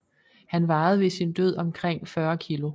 Han vejede ved sin død omkring 40 kg